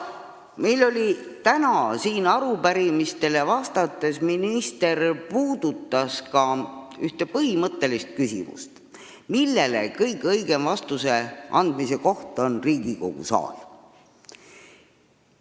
Täna siin arupärimistele vastates puudutas minister ka ühte põhimõttelist küsimust, millele kõige õigem vastuse andmise koht on Riigikogu saal.